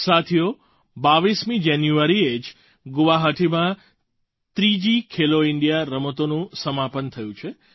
સાથીઓ 22 જાન્યુઆરીએ જ ગુવાહાટીમાં ત્રીજી ખેલો ઇન્ડિયા રમતોનું સમાપન થયું છે